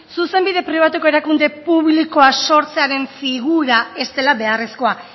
zuzenbide pribatuko erakunde publikoa sortzearen figura ez dela beharrezkoa